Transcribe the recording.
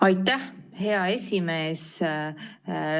Aitäh, hea esimees!